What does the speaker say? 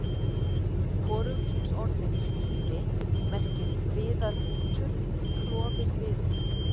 Hvorugkynsorðið skíði merkir viðarbútur, klofinn viður.